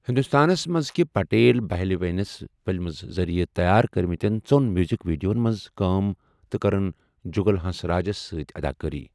ہندوستانَس منٛزكٕہ پٹیل بہلہِ وینس فِلمز ذٔریعہِ تیار کٔرمٕتین ژوٚن میوٗزک ویڈیوَن منٛز كام تہٕ کٔرٕن جُگل ہنسراجَس سۭتۍ اداکٲری ۔